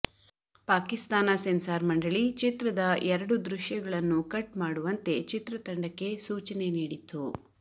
Pakistan censor ಮಂಡಳಿ ಚಿತ್ರದ ಎರಡು ದೃಶ್ಯಗಳನ್ನು ಕಟ್ ಮಾಡುವಂತೆ ಚಿತ್ರ ತಂಡಕ್ಕೆ ಸೂಚನೆ ನೀಡಿತ್ತು